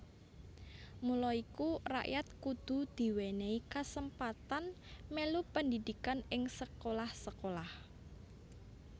Mula iku rakyat kudu diwènèhi kasempatan mèlu pendhidhikan ing sekolah sekolah